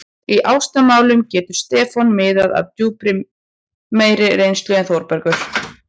Í ástamálum getur Stefán miðlað af drjúgum meiri reynslu en Þórbergur.